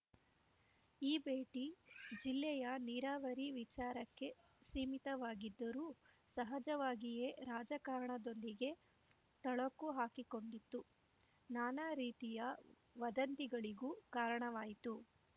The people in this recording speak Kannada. ಈ ಭೇಟಿ ಜಿಲ್ಲೆಯ ನೀರಾವರಿ ವಿಚಾರಕ್ಕೆ ಸೀಮಿತವಾಗಿದ್ದರೂ ಸಹಜವಾಗಿಯೇ ರಾಜಕಾರಣದೊಂದಿಗೆ ಥಳಕು ಹಾಕಿಕೊಂಡಿತು ನಾನಾ ರೀತಿಯ ವದಂತಿಗಳಿಗೂ ಕಾರಣವಾಯಿತು